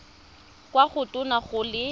kwa go tona go le